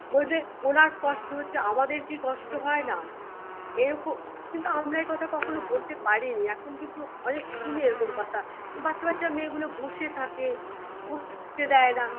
বলবে ওনার কষ্ট হচ্ছে আমাদের কি কষ্ট হয় না এরকম কিন্তু আমরা একথা কখনো বলতে পারিনি এখন কিন্তু অনেক শুনি এরকম কথা বাচ্চা বাচ্চা মেয়ে গুলো বসে থাকে দেয়না